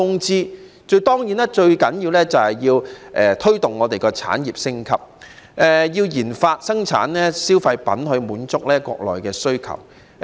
最重要的是推動香港產業升級，也要研發和生產消費品來滿足國內需要。